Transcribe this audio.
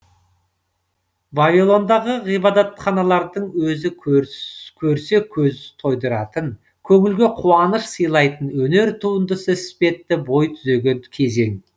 вавилондағы ғибадатханалардың өзі көрсе көз тойдыратын көңілге қуаныш сыйлайтын өнер туындысы іспетті бой түзеген кезең